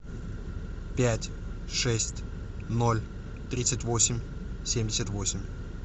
пять шесть ноль тридцать восемь семьдесят восемь